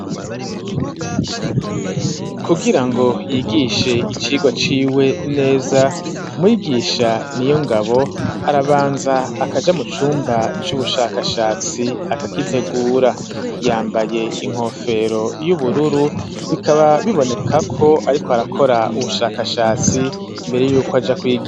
Kugira ngo yigishe icirwa ciwe neza mwigisha ni yo ngabo arabanza akaja mu cumba c'ubushakashatsi akagitegura yambaye inkofero y'ubururu bikaba bibonekako, ariko arakora ubushakashatsi mbere yuko aja kwiga.